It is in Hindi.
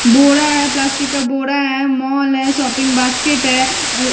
बोरा है प्लास्टिक का बोरा है मॉल है शॉपिंग का बास्केट है।